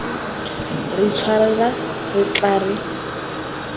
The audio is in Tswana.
re itshwarela re tla re